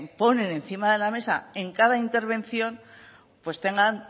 ponen encima de la mesa en cada intervención pues tengan